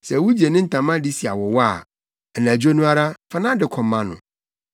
Sɛ wugye ne ntama de si awowa a, anadwo no ara, fa nʼade kɔma no.